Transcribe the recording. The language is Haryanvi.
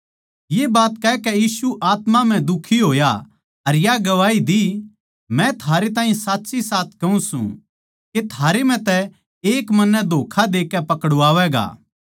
ये बात कहकै यीशु आत्मा म्ह दुखी होया अर या गवाही दी मै थारै ताहीं साच्चीसाच कहूँ सूं के थारै म्ह तै एक मन्नै धोक्खा देकै पकड़वावैगा